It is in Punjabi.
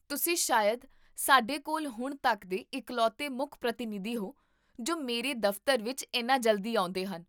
ਤੁਸੀਂ ਸ਼ਾਇਦ ਸਾਡੇ ਕੋਲ ਹੁਣ ਤੱਕ ਦੇ ਇਕਲੌਤੇ ਮੁੱਖ ਪ੍ਰਤੀਨਿਧੀ ਹੋ, ਜੋ ਮੇਰੇ ਦਫ਼ਤਰ ਵਿੱਚ ਇੰਨਾ ਜਲਦੀ ਆਉਂਦੇਹਨ